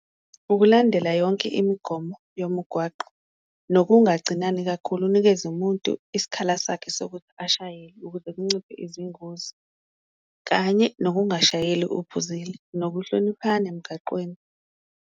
Ukulandela yonke imigomo yomgwaqo nokungacinani kakhulu unikeze umuntu isikhala sakhe sokuthi ashayele, ukuze kunciphe izingozi kanye nokungashayeli uphuzile, nokuhloniphana emgaqweni.